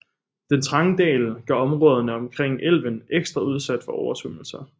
Den trange dal gør områderne omkring elven ekstra udsatte for oversvømmelser